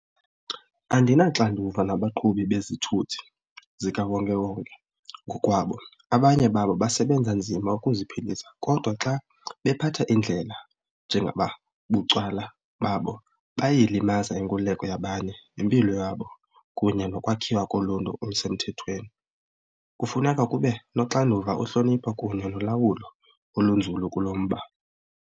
Andinaxanduva nabaqhubi bezithuthi zikawonkewonke ngokwabo. Abanye babo basebenza nzima ukuziphilisa kodwa xa bephatha indlela njengoba bucwala babo buyayilimaza inkululeko yabanye, impilo yabo kunye nokwakhiwa koluntu olusemthethweni. Kufuneka kube noxanduva, uhlonipho kunye nolawulo olunzulu kulo mba.